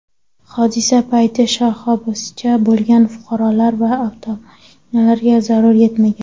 Hodisa payti shoxobchada bo‘lgan fuqarolar va avtomashinalarga zarar yetmagan.